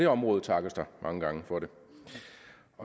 område takkes der mange gange for det